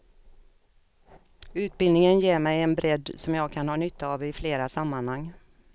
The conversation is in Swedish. Utbildningen ger mig en bredd som jag kan ha nytta av i flera sammanhang.